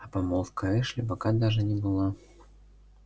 а помолвка эшли пока даже не была